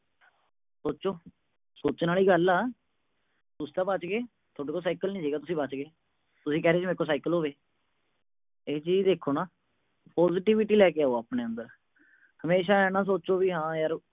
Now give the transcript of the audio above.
ਸੋਚੋ। ਸੋਚਣ ਆਲੀ ਗੱਲ ਆ। ਤੁਸੀਂ ਤਾਂ ਬਚ ਗਏ, ਤੁਹਾਡੇ ਕੋਲ ਸਾਈਕਲ ਨੀ ਸੀਗਾ, ਤੁਸੀਂ ਬਚ ਗਏ। ਤੁਸੀਂ ਕਹਿ ਰਹੇ ਸੀ, ਮੇਰੇ ਕੋਲ ਸਾਈਕਲ ਹੋਵੇ। ਇਹ ਚੀਜ ਦੇਖੋ ਨਾ। positivity ਲੈ ਕੇ ਆਓ ਆਪਣੇ ਅੰਦਰ। ਹਮੇਸ਼ਾ ਆਏ ਨਾ ਸੋਚੋ ਵੀ ਹਾਂ ਯਾਰ